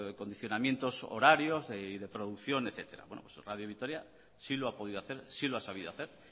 condicionamientos de horarios y de producción etcétera bueno radio vitoria sí lo ha podido hacer sí lo ha sabido hacer